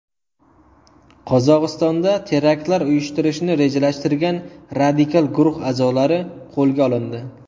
Qozog‘istonda teraktlar uyushtirishni rejalashtirgan radikal guruh a’zolari qo‘lga olindi.